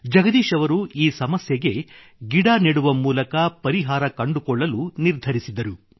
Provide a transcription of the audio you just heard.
ಜಗದೀಶ್ ಅವರು ಈ ಸಮಸ್ಯೆಗೆ ಗಿಡ ನೆಡುವ ಮೂಲಕ ಪರಿಹಾರ ಕಂಡುಕೊಳ್ಳಲು ನಿರ್ಧರಿಸಿದರು